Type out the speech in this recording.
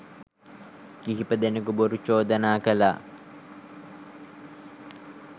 කිහිප දෙනකු බොරු චෝදනා කළා.